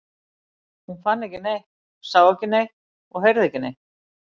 Hún fann ekki neitt, sá ekki neitt og heyrði ekki neitt.